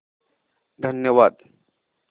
धन्यवाद